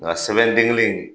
Nka sɛbɛn den kelen in